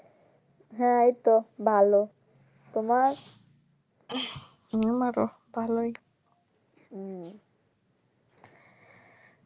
হম আরো ভালোই উম